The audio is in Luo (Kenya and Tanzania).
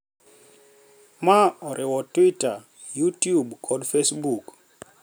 Ma oriwo Twitter, Youtube kod Facebook.